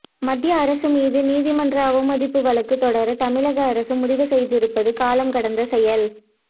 மத்திய அரசு மீது நீதிமன்ற அவமதிப்பு வழக்கு தொடர தமிழக அரசு முடிவு செய்திருப்பது காலம்கடந்த செயல்